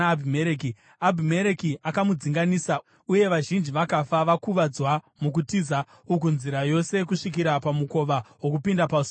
Abhimereki akamudzinganisa uye vazhinji vakafa vakuvadzwa mukutiza uku nzira yose kusvikira pamukova wokupinda pasuo reguta.